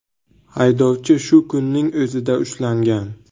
Haydovchi shu kunning o‘zida ushlangan.